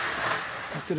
þetta eru